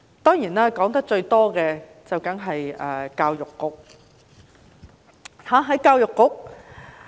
當然，我說得最多的便是教育局。